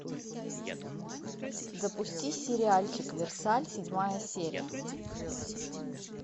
запусти сериальчик версаль седьмая серия